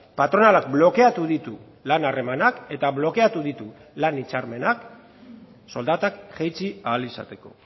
patronalak blokeatu ditu lan harremanak eta blokeatu ditu lan hitzarmenak soldatak jaitsi ahal izateko